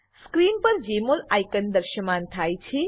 screen પર જમોલ icon દ્રશ્યમાન થાય છે